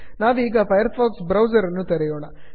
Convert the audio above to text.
ನಾವೀಗ Firefox ಬ್ರೌಸರನ್ನು ತೆರೆಯೋಣ